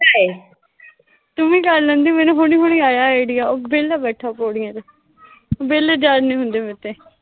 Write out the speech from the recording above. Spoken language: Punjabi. ਤੂੰ ਵੀ ਕਰ ਲੈਂਦੀ, ਮੈਨੂੰ ਹੁਣੇ, ਹੁਣ ਆਇਆ ਆਈਡੀਆਂ, ਉਹ ਵਿਹਲਾ ਤਾਂ ਬੈਠਾ ਪੌੜੀਆਂ ਚ। ਵਿਹਲੇ ਜ਼ਰ ਨੀਂ ਹੁੰਦੇ ਮੇਰੇ ਤੇ